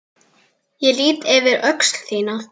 Ég lýt yfir öxl þína.